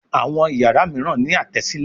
Àwọn iyàrá míràn ní Àtẹ́sílẹ̀